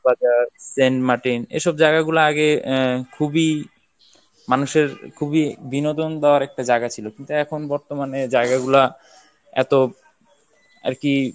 বাজার, সেন্ট মার্টিন এইসব জায়গা গুলা আগে আহ খুবই মানুষের খুবই বিনোদন দেওয়ার একটা জায়গা ছিল কিন্তু এখন বর্তমানে জায়গা গুলো এত আর কি